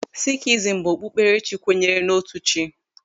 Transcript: Sikhism bụ okpukperechi kwenyere n'otu chi.